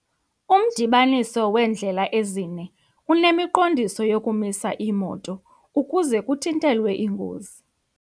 Umdibaniso weendlela ezine unemiqondiso yokumisa iimoto ukuze kuthintelwe iingozi.